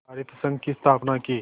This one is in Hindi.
सहाकारित संघ की स्थापना की